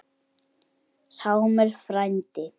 Sámur frændi